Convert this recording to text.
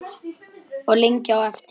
Og lengi á eftir.